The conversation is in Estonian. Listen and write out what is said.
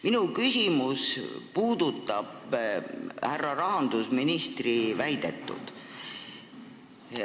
Minu küsimus puudutab härra rahandusministri väidetut.